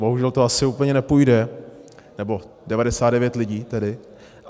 Bohužel to asi úplně nepůjde, nebo 99 lidí tedy.